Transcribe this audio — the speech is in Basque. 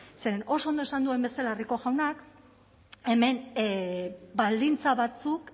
zeren oso ondo esan duen bezala rico jaunak hemen baldintza batzuk